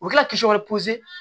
U bɛ kila k'i wɛrɛ